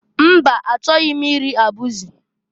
Mba! Achọghị m iri abụzị.